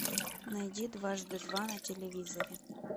найди дважды два на телевизоре